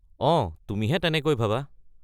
অঁ, তুমিহে তেনেকৈ ভাবা!